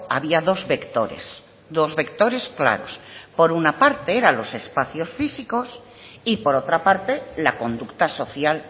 había dos vectores dos vectores claros por una parte eran los espacios físicos y por otra parte la conducta social